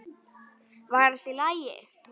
Var allt í lagi?